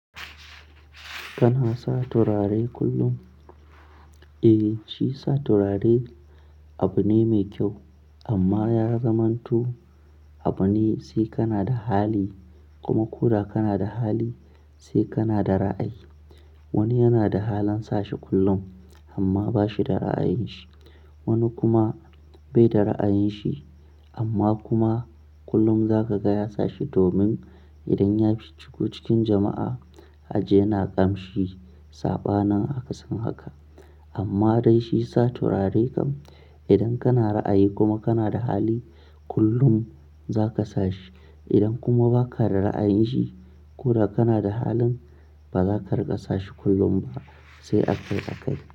Kana sa turare kullum? Eh, shi sa turare abu ne mai kyau amma ya zamanto abu ne sai kana da hali kuma ko da kana da hali sai kana da ra'ayi. Wani yana da halin sashi kullum amma bashi da ra'ayin shi. Wani kuma bai da ra'ayin shi amma kuma kullum zaka ga ya sashi domin idan ya fito cikin jama'a, aji yana ƙamshi sa ɓa nin akasin haka. Amma dai shi sa turare kam idan kana ra'ayi kuma kana da hali kullum zaka sashi. Idan kuma baka da ra'ayin shi ko da kana da halin, bazakariƙa sa shi kullum ba sai akai akai.